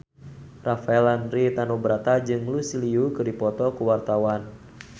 Rafael Landry Tanubrata jeung Lucy Liu keur dipoto ku wartawan